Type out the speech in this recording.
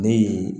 Ne ye